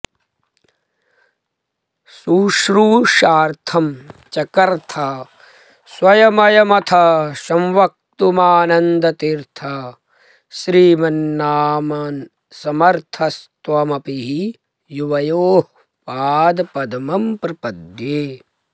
शुष्रूशार्थं चकर्थ स्वयमयमथ संवक्तुमानन्दतीर्थ श्रीमन्नामन्समर्थस्त्वमपि हि युवयोः पादपद्मं प्रपद्ये